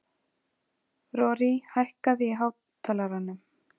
Rorí, hækkaðu í hátalaranum.